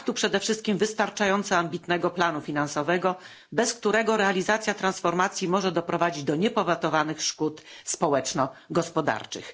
Brak tu przede wszystkim wystarczająco ambitnego planu finansowego, bez którego realizacja transformacji może doprowadzić do niepowetowanych szkód społeczno gospodarczych.